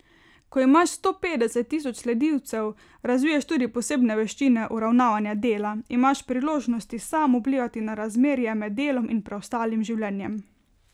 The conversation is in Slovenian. Ko imaš sto petdeset tisoč sledilcev, razviješ tudi posebne veščine uravnavanja dela, imaš priložnost sam vplivati na razmerje med delom in preostalim življenjem.